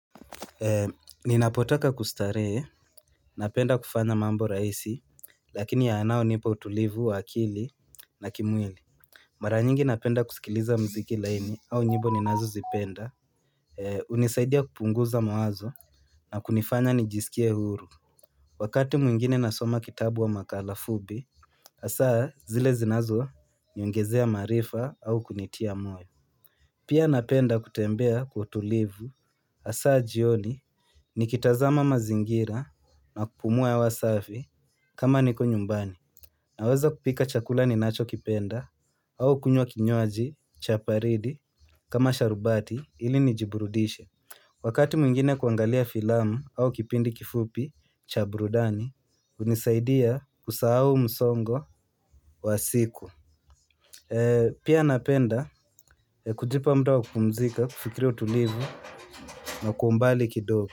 Ninapotaka kustarehe, napenda kufanya mambo rahisi, lakini yanayo nipa utulivu wa akili na kimwili. Mara nyingi napenda kusikiliza mziki laini au njimbo ninazozipenda, unisaidia kupunguza mawazo na kunifanya nijisikie uhuru. Wakati mwingine nasoma kitabu au makala fupi, asaa zile zinazo niongezea maarifa au kunitia moyo. Pia napenda kutembea utulivu asa jioni ni kitazama mazingira na kupumua hewa safi kama niko nyumbani. Naweza kupika chakula ninachokipenda au kunywa kinywaji cha baridi kama sharubati ili nijiburudishe. Wakati mwingine kuangalia filamu au kipindi kifupi cha burudani, unisaidia kusahau msongo wa siku. Pia napenda kujipa mda wa kupumzika, kufikiri utulivu na kwa umbali kidogo.